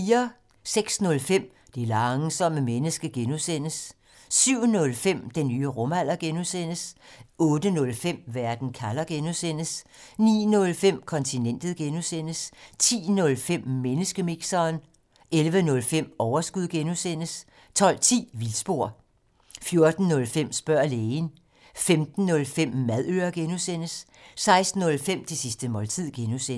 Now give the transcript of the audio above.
06:05: Det langsomme menneske (G) 07:05: Den nye rumalder (G) 08:05: Verden kalder (G) 09:05: Kontinentet (G) 10:05: Menneskemixeren 11:05: Overskud (G) 12:10: Vildspor 14:05: Spørg lægen 15:05: Madøre (G) 16:05: Det sidste måltid (G)